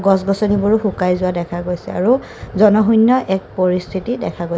গছ গছনিবোৰো শুকাই যোৱা দেখা গৈছে আৰু জনশূন্য এক পৰিস্থিতি দেখা গৈ--